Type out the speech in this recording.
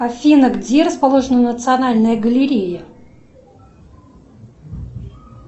афина где расположена национальная галерея